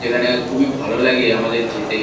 যেখানে খুবই ভালো লাগে আমাদের যেতে।